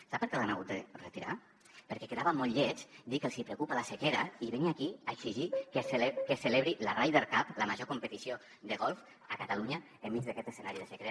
sap per què l’han hagut de retirar perquè quedava molt lleig dir que els hi preocupa la sequera i venir aquí a exigir que es celebri la ryder cup la major competició de golf a catalunya enmig d’aquest escenari de sequera